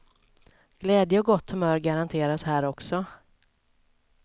Glädje och gott humör garanteras här också.